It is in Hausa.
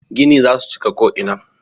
Gini za su cika ko'ina.